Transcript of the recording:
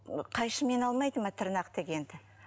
қайшымен алмайды ма тырнақ дегенді